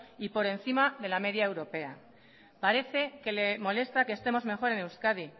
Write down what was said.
y por encima de la media europea parece que le molesta que estemos mejor en euskadi